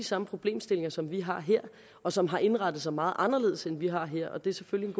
samme problemstillinger som vi har her og som har indrettet sig meget anderledes end vi har her og det er selvfølgelig